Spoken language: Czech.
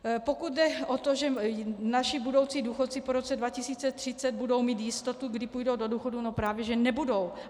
Pokud jde o to, že naši budoucí důchodci po roce 2030 budou mít jistotu, kdy půjdou do důchodu - no právě že nebudou.